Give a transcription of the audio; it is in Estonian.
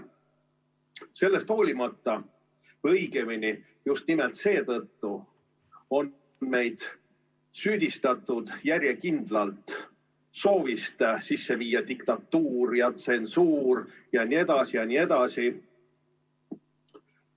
Sellest hoolimata, õigemini just nimelt seetõttu on meid süüdistatud järjekindlalt soovis sisse viia diktatuur ja tsensuur jne, jne.